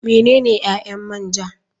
Menene ƴaƴan man ja.